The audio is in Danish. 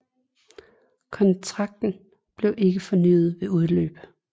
Kontrakten blev ikke fornyet ved udløb